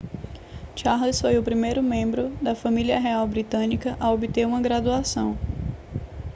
charles foi o primeiro membro da família real britânica a obter uma graduação